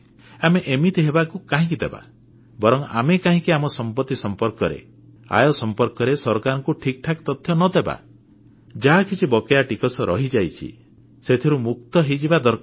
ଆମେ ଏମିତି ହେବାକୁ କାହିଁକି ଦେବା ବରଂ ଆମେ କାହିଁକି ଆମ ସମ୍ପତ୍ତି ସମ୍ପର୍କରେ ଆୟ ସମ୍ପର୍କରେ ସରକାରଙ୍କୁ ଠିକ୍ ଠିକ୍ ତଥ୍ୟ ନ ଦେବା ଯାହା କିଛି ବକେୟା ଟିକସ ରହିଯାଇଛି ସେଥିରୁ ମୁକ୍ତ ହୋଇଯିବା ଦରକାର